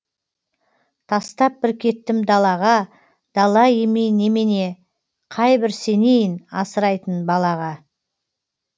тастап бір кеттім далаға дала емей немене қайбір сенейін асырайтын балаға